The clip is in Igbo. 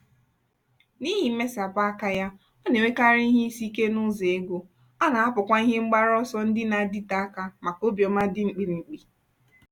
n'ihi mmesapụ aka ya ọ na-enwekarị ihe isi ike n'ụzọ ego ọ na-ahapụkwa ihe mgbaru ọsọ ndị na-adịte aka maka obiọma dị mkpirikpi.